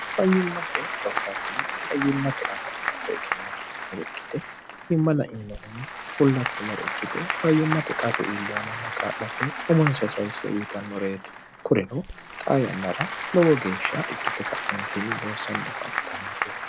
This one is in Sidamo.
fayyimmate loosaasine fayyimmate aana ikkator egennaafinore ikkite fayyimma la innohunni fullakkinore ikkite fayyimmate qarru iillehomonna kaa'late umonsa sayisse uyitannoreeti kureno xa yannara lowo geeshsha ikkite ka'entinni loosanni afantannoreeti